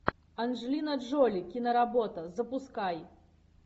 анджелина джоли киноработа запускай